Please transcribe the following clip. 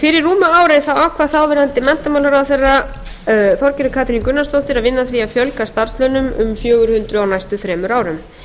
fyrir rúmu ári ákvað þáverandi menntamálaráðherra þorgerður katrín gunnarsdóttir að vinna að því að fjölga starfslaunum um fjögur hundruð á næstu þremur árum